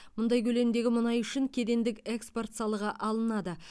мұндай көлемдегі мұнай үшін кедендік экспорт салығы алынады